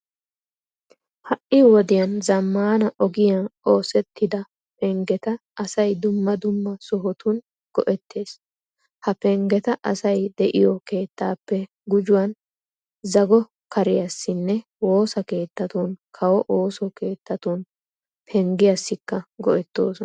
Ha"i wodiyan zammaana ogiyan oosettida penggeta asay dumma dumma sohotun go"ettees. Ha penggeta asay de'iyo keettaappe gujuwan zago kariyassinne woosa keettatunne kawo ooso keettatun penggiyassikka go"ettoosona.